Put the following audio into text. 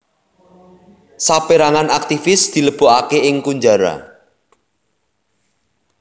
Saperangan aktivis dilebokake ing kunjara